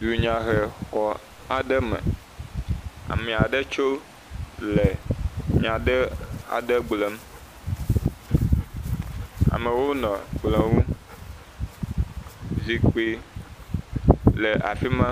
Dunyahexɔ aɖe me, ame aɖe tso le nya aɖe gblɔm, amewo nɔ kplɔ ŋu, zikpui le afi ma.